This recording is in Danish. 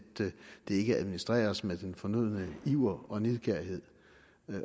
det ikke administreres med den fornødne iver og nidkærhed